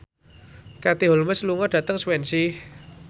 Katie Holmes lunga dhateng Swansea